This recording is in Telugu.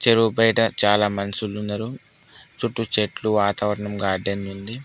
చెరువు బయట చాలా మనసులు ఉన్నారు చుట్టూ చెట్లు వాతావరణం గార్డెన్ ఉంది.